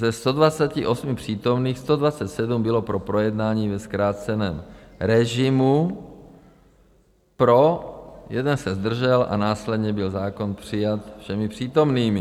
Ze 128 přítomných 127 bylo pro projednání ve zkráceném režimu, pro, jeden se zdržel a následně byl zákon přijat všemi přítomnými.